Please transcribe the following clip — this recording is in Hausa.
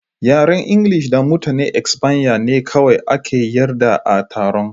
Yaren Ingilishi da Mutanen Espanya ne kawai aka yarda a taron.